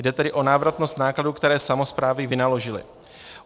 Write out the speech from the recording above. Jde tedy o návratnost nákladů, které samosprávy vynaložily.